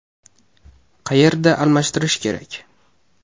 Qayerda almashtirish kerak?